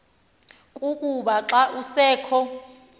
kukuba xa kusekho